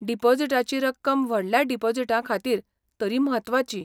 डिपॉझिटाची रक्कम व्हडल्या डिपॉझिटांखातीर तरी म्हत्वाची.